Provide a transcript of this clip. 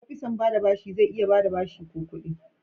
opisan ba da bashi zai iya ba da bashi ko kudi.